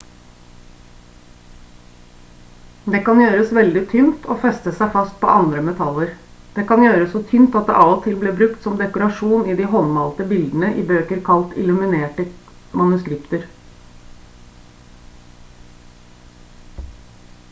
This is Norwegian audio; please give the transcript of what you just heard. det kan gjøres veldig tynt og feste seg fast på andre metaller. det kan gjøres så tynt at det av og til ble brukt som dekorasjon i de håndmalte bildene i bøker kalt «illuminerte manuskripter»